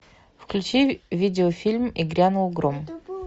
включи видеофильм и грянул гром